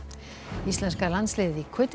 íslenska landsliðið í